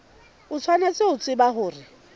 o tshwanetse ho tseba hore